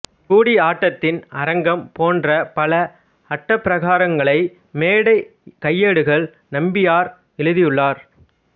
கூடியாட்டத்தின் அரங்கம் போன்ற பல அட்டப்பிரகாரங்களை மேடை கையேடுகள் நம்பியார் எழுதியுள்ளார்